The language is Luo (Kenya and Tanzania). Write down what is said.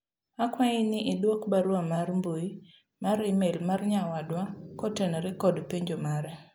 akwayi ni idwok barua mar mbui mar email mar nyawadwa kotenore kod penjo mare